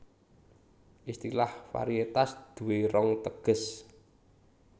Istilah varietas duwé rong teges